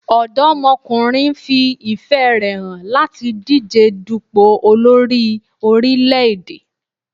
Ọ̀dọ́mọkùnrin fi ìfẹ́ rè hàn láti díje dùpò olórí orílẹ̀-èdè.